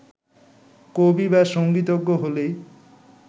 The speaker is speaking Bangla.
কবি বা সংগীতজ্ঞ হলেই